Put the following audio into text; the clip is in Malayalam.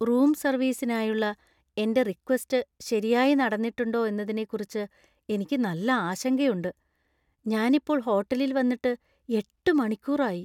റൂം സർവീസിനായുള്ള എന്‍റെ റിക്വസ്റ്റ് ശരിയായി നടന്നിട്ടുണ്ടോ എന്നതിനെക്കുറിച്ച് എനിക്ക് നല്ല ആശങ്കയുണ്ട് . ഞാനിപ്പോൾ ഹോട്ടലിൽ വന്നിട്ട് എട്ട് മണിക്കൂർ ആയി.